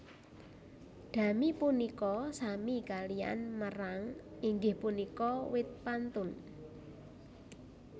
Dami punika sami kaliyan merang inggih punika wit pantun